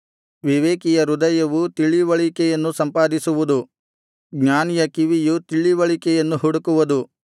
ವಿವೇಕಿಯ ಹೃದಯವು ತಿಳಿವಳಿಕೆಯನ್ನು ಸಂಪಾದಿಸುವುದು ಜ್ಞಾನಿಯ ಕಿವಿಯು ತಿಳಿವಳಿಕೆಯನ್ನು ಹುಡುಕುವುದು